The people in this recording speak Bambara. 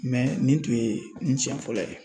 nin tun ye n siɲɛ fɔlɔ ye.